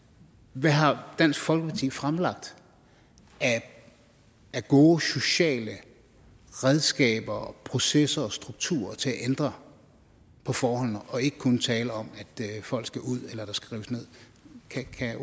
hvad har dansk folkeparti fremlagt af gode sociale redskaber processer og strukturer til at ændre på forholdene for ikke kun at tale om at folk skal ud eller at der skal rives ned kan